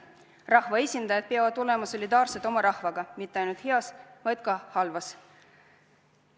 Rahvaesindajad peavad olema solidaarsed oma rahvaga, mitte ainult heas, vaid ka halvas.